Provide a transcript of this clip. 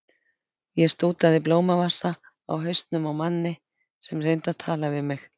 Ég stútaði blómavasa á hausnum á manni sem reyndi að tala við mig.